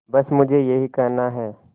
बस मुझे यही कहना है